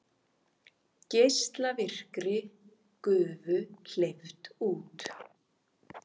Geislavirkri gufu hleypt út